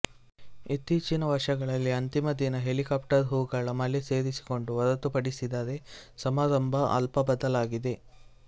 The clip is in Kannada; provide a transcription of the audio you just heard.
ಇತ್ತೀಚಿನ ವರ್ಷಗಳಲ್ಲಿ ಅಂತಿಮ ದಿನ ಹೆಲಿಕಾಪ್ಟರ್ ಹೂಗಳ ಮಳೆ ಸೇರಿಸಿಕೊಂಡು ಹೊರತುಪಡಿಸಿದರೆ ಸಮಾರಂಭ ಅಲ್ಪ ಬದಲಾಗಿದೆ